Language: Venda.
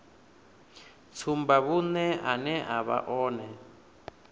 tsumbavhuṅe ane a vha one